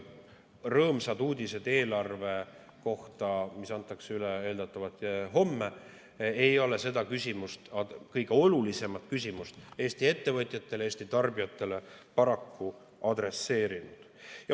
Rõõmsad uudised eelarve kohta, mis antakse üle eeldatavalt homme, ei ole seda küsimust, Eesti ettevõtjatele ja Eesti tarbijatele kõige olulisemat küsimust, paraku adresseerinud.